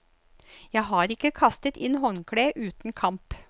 Jeg har ikke kastet inn håndkleet uten kamp.